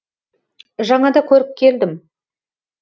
жаңада көріп келдім